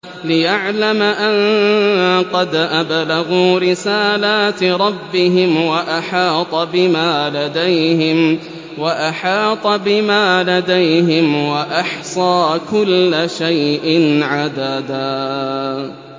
لِّيَعْلَمَ أَن قَدْ أَبْلَغُوا رِسَالَاتِ رَبِّهِمْ وَأَحَاطَ بِمَا لَدَيْهِمْ وَأَحْصَىٰ كُلَّ شَيْءٍ عَدَدًا